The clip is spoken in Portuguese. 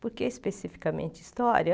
Por que especificamente história?